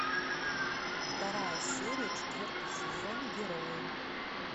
вторая серия четвертый сезон герои